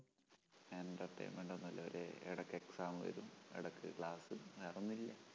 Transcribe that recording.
entertainment ഒന്നുമില്ലഒരു എടക്ക് exam വരും, എടക്ക് class ഉം വേറൊന്നും ഇല്ല.